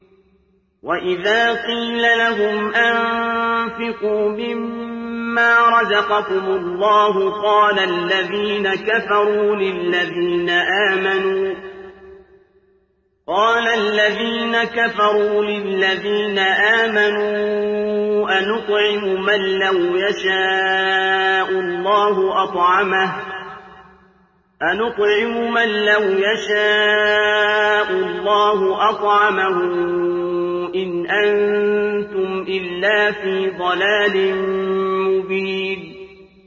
وَإِذَا قِيلَ لَهُمْ أَنفِقُوا مِمَّا رَزَقَكُمُ اللَّهُ قَالَ الَّذِينَ كَفَرُوا لِلَّذِينَ آمَنُوا أَنُطْعِمُ مَن لَّوْ يَشَاءُ اللَّهُ أَطْعَمَهُ إِنْ أَنتُمْ إِلَّا فِي ضَلَالٍ مُّبِينٍ